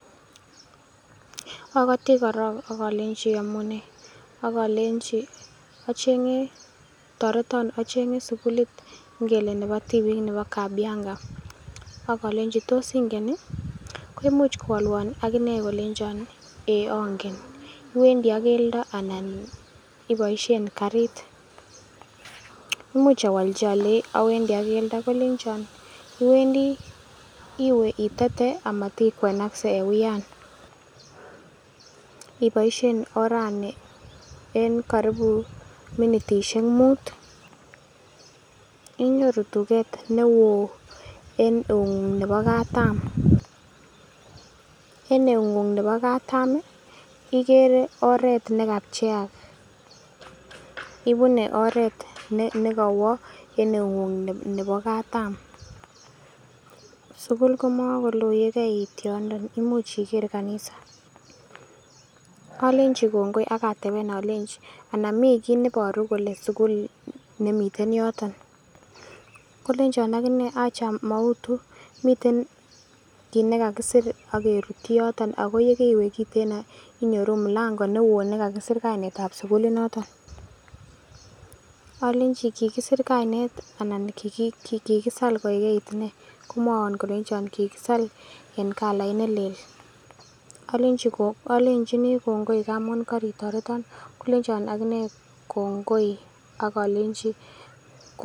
Ogoti korong ak olenchi iyomune ak olenchi toreton acheng'e sugulit ngele nebo tibik nebo Kabianga ak olenchi tos ingen ii? Koimuch kowalwon ak inee kolenchon eeiy angen, iwendi ak keldo anna iboisein karit? Imuch awolchi alenji awendi ak keldo, kolenchon iwendi iwe itete amat ikwenakse en uyan, Iboisien orani en karibu minitisiek mut inyoru tuget ne woo en eung'ung nebo katam, en eung'ung nebo katam ii? Igere oret nekapcheak, ibune oret ne kowo en eung'ung nebo katam. Sukul komakoloo ye keeit yondon imuch ikere kanisa. Olenchi kongoi ak ateben alenchi ana mi kiy neiboru kole sugul nemiten yoton. Kolenchon ak inee acha mautu miten kit nekakisir ak kirutyi yoton ago ye keiwe kiteno inyoru mulango newoo ne kakisir kainet ab sukulinoton. Alechi kigisir kainet anan kigisal koigeit nee? Komwowon kolenjon kigisal en kalait nelel, alenchini kongoi ngamun koritoreton kolenchon ak inee kongoi ak alenji kongoi.